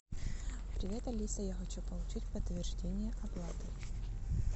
привет алиса я хочу получить подтверждение оплаты